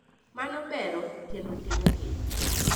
Mano bero kendo tego keny.